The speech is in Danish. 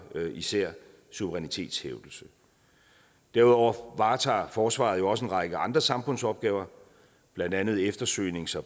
især suverænitetshævdelse derudover varetager forsvaret også en række andre samfundsopgaver blandt andet eftersøgnings og